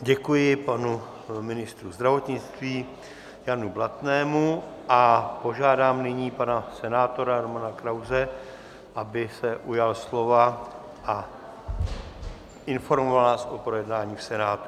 Děkuji panu ministru zdravotnictví Janu Blatnému a požádám nyní pana senátora Romana Krause, aby se ujal slova a informoval nás o projednání v Senátu.